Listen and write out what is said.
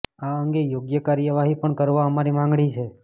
આ અંગે યોગ્ય કાર્યવાહી પણ કરવા અમારી માંગણી છે